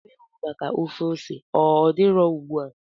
Anụ ewu maka ofe ose ọ dị nro ugbu a?